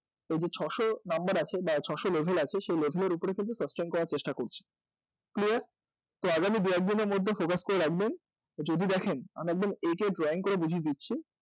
এই যে ছশো number আছে বা ছশো level এই level এর উপরে sustain করার চেষ্টা করছে clear? তো আগামী দু একদিনের মধ্যে focus করে রাখবেন যদি দেখেন আমি একদম এঁকে drawing করে বুঝিয়ে দিচ্ছি